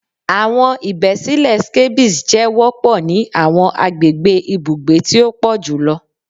Awọn ibesile scabies jẹ wọpọ ni awọn agbegbe ibugbe ti o pọ julọ